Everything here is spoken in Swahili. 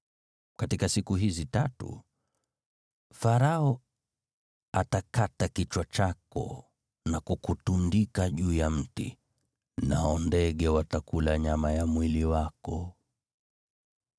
Katika siku hizi tatu, Farao atakata kichwa chako na kukutundika juu ya mti. Nao ndege watakula nyama ya mwili wako.”